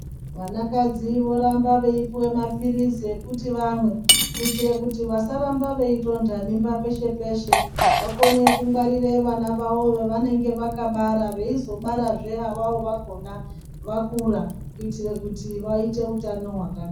Vanakadzi voramba veipuwa maphirizi ekuti vamwe, kuitira kuti vasaramba veitonda mimba peshe peshe. Vakone kungwarire vana vavo vavanenge vakabara veizobarazve avavo vakona vakura kuitire kuti vaite utano hwakanaka.